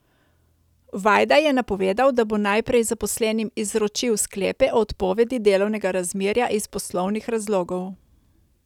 Vajda je napovedal, da bo najprej zaposlenim izročil sklepe o odpovedi delovnega razmerja iz poslovnih razlogov.